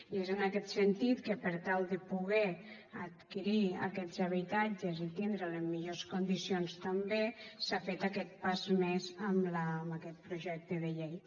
i és en aquest sentit que per tal de poder adquirir aquests habitatges i tindre’ls en millors condicions també s’ha fet aquest pas més amb aquest projecte de llei